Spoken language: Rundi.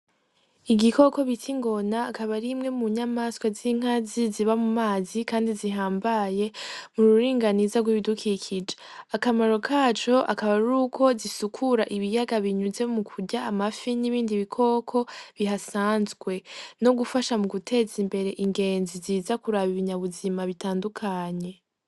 Igikoko bita ingona akaba arimwe mu nyamaswa z'inkazi ziba mu mazi, kandi zihambaye mu ruringaniza rw'ibidukikije akamaro kaco akaba ari uko zisukura ibiyaga binyuze mu kurya amafi n'ibindi bikoko bihasanzwe no gufasha mu guteza imbere ingenzi ziza kuraba ibinya buzima bitandukanye.